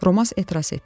Romas etiraz etdi: